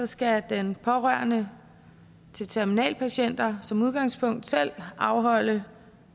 skal den pårørende til terminalpatienter som udgangspunkt selv afholde